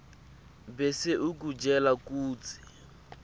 bese ikutjela kutsi